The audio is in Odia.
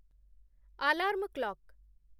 ଆଲାର୍ମ୍‌ କ୍ଲକ୍